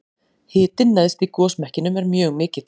hitinn neðst í gosmekkinum er mjög mikill